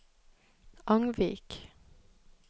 Angvik